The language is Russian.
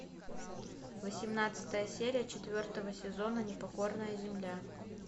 восемнадцатая серия четвертого сезона непокорная земля